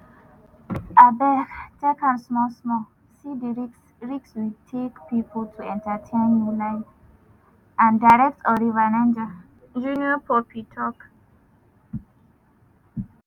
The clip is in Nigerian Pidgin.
"abeg take am small small see di risk risk we take pipo to entertain you live and direct on river niger" junior pope tok.